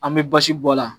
An bɛ basi bɔ a la